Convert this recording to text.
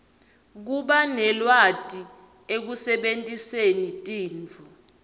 kubanelwati ekusebentiseni tinto